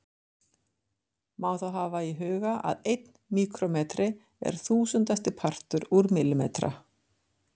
Má þá hafa í huga að einn míkrómetri er þúsundasti partur úr millimetra.